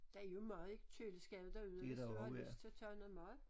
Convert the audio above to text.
Der er mad i køleskabet derude hvis du har lyst til at tage noget mad